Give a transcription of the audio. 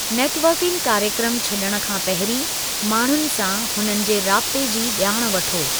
Networking कार्यक्रमु छड॒णु खां पहिरीं माण्हूनि सां हुननि जे राब्ते जी जा॒ण वठो।